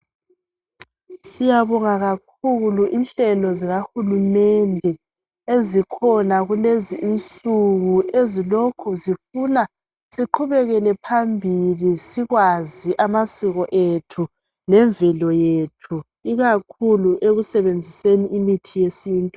siyabonga kakhulu inhlelo zikakulumende ezikhona kulezi insuku ezilokho zifuna siqhubekele phambilisikwazi amasiko ethu lemvelo yethu ikakhulu ekusebenziseni imithi yesintu